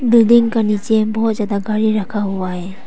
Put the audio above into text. Building का नीचे बहुत ज्यादा गाड़ी रखा हुआ है।